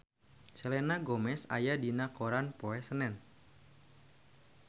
Selena Gomez aya dina koran poe Senen